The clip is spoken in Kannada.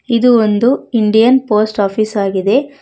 ಇದು ಒಂದು ಇಂಡಿಯನ್ ಪೋಸ್ಟ್ ಆಫೀಸ್ ಆಗಿದೆ.